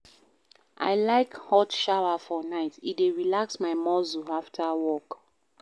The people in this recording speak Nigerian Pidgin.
I like hot shower for night, e dey relax my muscles afta work.